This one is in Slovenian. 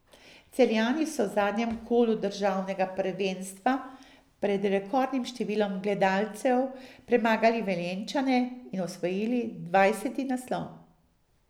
Celjani so v zadnjem kolu državnega prvenstva pred rekordnim številom gledalcev premagali Velenjčane in osvojili dvajseti naslov.